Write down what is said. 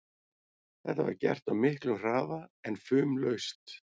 Þetta var gert á miklum hraða en fumlaust.